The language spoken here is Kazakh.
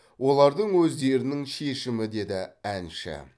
олардың өздерінің шешімі деді әнші